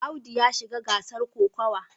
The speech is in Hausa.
Audu ya shiga gasar kokawa.